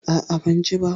A'a, ban ji ba.